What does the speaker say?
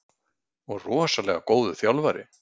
Og rosalega góður þjálfari.